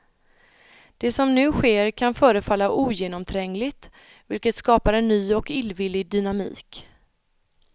Det som nu sker kan förefalla ogenomträngligt vilket skapar en ny och illvillig dynamik.